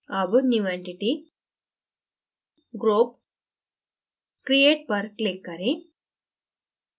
अब new entity>> group>> create पर click करें